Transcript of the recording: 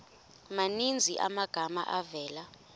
maninzi amagama avela